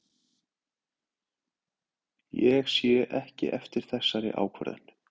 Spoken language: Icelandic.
Ég sé ekki eftir þessari ákvörðun.